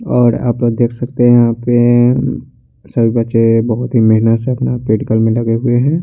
और अपन देख सकते है यहाँ पे सभी बच्चे बहुत ही मेहनत से अपना वेट काम में लगे हुए है।